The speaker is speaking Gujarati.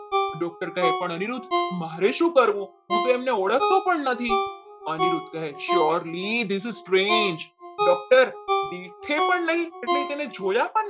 doctor કહે પણ અનિરુદ્ધ મારે શું કરવું? હું તો એમને ઓળખતો પણ નથી અનિરુદ્ધ કહે શોર્લી વિભુજ train છે પણ નહીં એટલે અમને જોયા પણ નહીં.